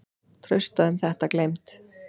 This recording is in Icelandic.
Trausta um þetta gleymd.